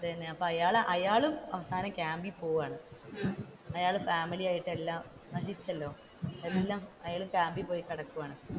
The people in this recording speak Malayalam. അത് തന്നെ ആയഅയാളും അവസാനം ക്യാമ്പിൽ പോകുവാണ് അയാൾ ഫാമിലിയായിട്ട് എല്ലാം നശിച്ചല്ലോ എല്ലാം അയാൾ ക്യാമ്പിൽ പോയി കിടക്കുവാണ്,